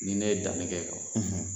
Ni ne ye danni kɛ,